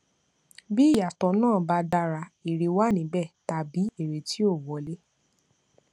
bí ìyàtọ náà ba dára èrè wà níbẹ tàbí èrè ti ó wọlé